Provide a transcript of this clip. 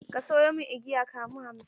Ka sayo min igiya kamu hamsin!